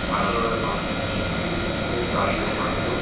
ভালোভাবে বানানো হয়েছে এর ভেতরে গাড়ি ঢোকানোরও--